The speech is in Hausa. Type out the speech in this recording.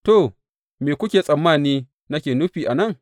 To, me kuke tsammani nake nufi a nan?